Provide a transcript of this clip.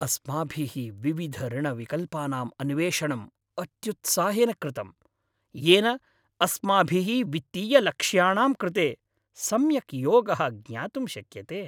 अस्माभिः विविधऋणविकल्पानां अन्वेषणम् अत्युत्साहेन कृतम्, येन अस्माभिः वित्तीयलक्ष्याणां कृते सम्यक् योगः ज्ञातुं शक्यते।